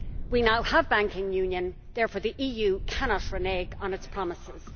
We now have banking union therefore the EU cannot renege on its promises.